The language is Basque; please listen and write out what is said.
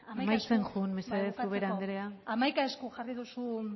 amaitzen joan mesedez ubera andrea amaitzeko